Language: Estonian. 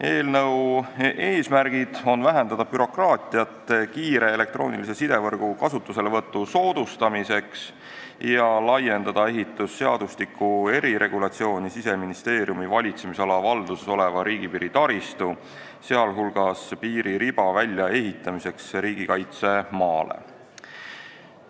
Eelnõu eesmärgid on vähendada bürokraatiat kiire elektroonilise side võrgu kasutuselevõtu soodustamiseks ja laiendada ehitusseadustiku eriregulatsiooni Siseministeeriumi valitsemisala valduses oleva riigipiiri taristu, sh piiririba väljaehitamiseks riigikaitsemaale.